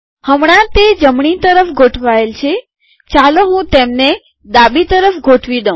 હમણા તે જમણી તરફ ગોઠવાયેલ છે ચાલો હું તેમને ડાબી તરફ ગોઠવી દઉં